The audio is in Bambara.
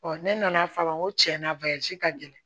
ne nana faama n ko tiɲɛna ka gɛlɛn